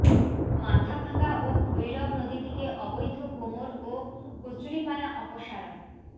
মাথাভাঙা ও ভৈরব নদী থেকে অবৈধ কোমর ও কচুরিপানা অপসারণ